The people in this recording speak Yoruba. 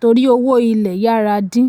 torí owó ilẹ̀ yára dín.